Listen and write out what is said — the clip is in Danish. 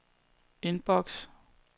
indboks